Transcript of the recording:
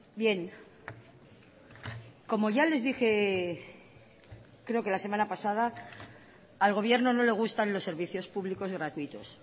bien como ya les dije creo que la semana pasada al gobierno no le gustan los servicios públicos gratuitos